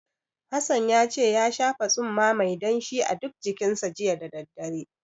Hassan ya ce ya shafa tsumma mai danshi a duk jikinsa, jiya da daddare.